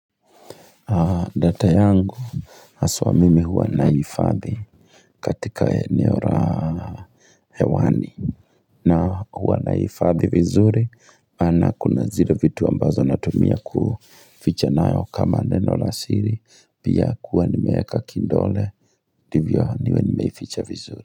Data yangu haswa mimi huwa naifadhi katika eneo la hewani na huwa naifadhi vizuri ana kuna zire vitu ambazo na tumia ku ficha nayo kama nenolasiri pia kuani meaka kindole ndivio niwe niwe ficha vizuri.